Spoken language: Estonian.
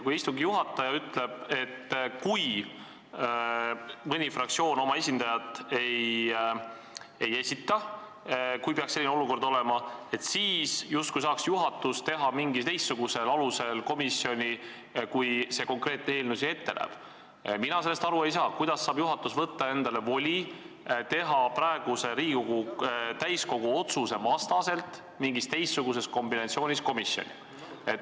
Kui istungi juhataja ütleb, et kui tekib selline olukord, kus mõni fraktsioon oma esindajat ei esita, sel juhul saaks juhatus moodustada komisjoni justkui mingil teistsugusel alusel, kui see eelnõu ette näeb, siis mina sellest aru ei saa, kuidas saab juhatus võtta endale voli teha Riigikogu täiskogu praeguse otsuse vastaselt mingis teistsuguses kombinatsioonis komisjoni.